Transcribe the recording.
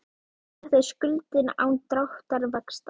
Og þetta er skuldin án dráttarvaxta.